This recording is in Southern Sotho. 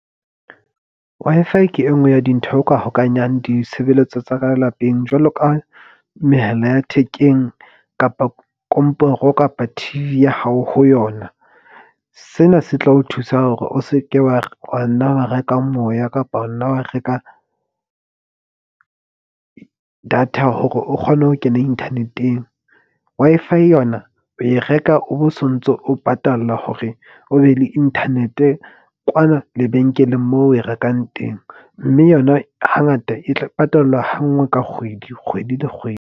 Wi-Fi ke e nngwe ya dintho o ka hokahanyang ditshebeletso tsa ka lapeng jwalo ka mehala ya thekeng kapa komporo kapa T_V ya hao ho yona. Sena se tla o thusa hore o seke wa nna wa reka moya, kapa wa nna wa reka data hore o kgone ho kena inthaneteng. Wi-Fi yona o e reka o bo sontso, o patalla hore o be le internet-e kwana lebenkeleng moo o e rekang teng. Mme yona hangata e tla patalwa ha nngwe ka kgwedi, kgwedi le kgwedi.